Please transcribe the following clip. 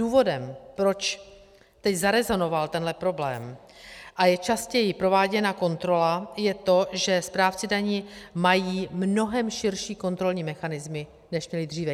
Důvodem, proč teď zarezonoval tenhle problém a je častěji prováděna kontrola, je to, že správci daní mají mnohem širší kontrolní mechanismy, než měli dříve.